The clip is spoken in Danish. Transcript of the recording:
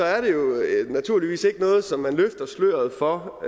er det jo naturligvis ikke noget som man løfter sløret for